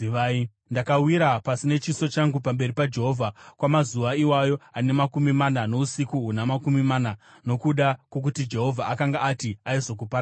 Ndakawira pasi nechiso changu pamberi paJehovha kwamazuva iwayo ane makumi mana nousiku huna makumi mana nokuda kwokuti Jehovha akanga ati aizokuparadzai.